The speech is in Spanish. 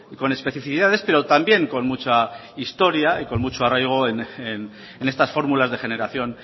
con especificidades pero también con mucha historia y con mucho arraigo en estas fórmulas de generación